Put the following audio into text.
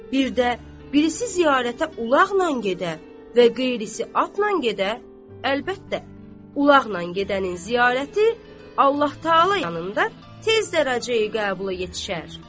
Bir də birisi ziyarətə ulaqnan gedə və qeyrisi atnan gedə, əlbəttə, ulaqnan gedənin ziyarəti Allah təalanın yanında tez dərəcəyə qəbula yetişər.